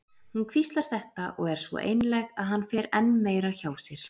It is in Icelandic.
Hún hvíslar þetta og er svo einlæg að hann fer enn meira hjá sér.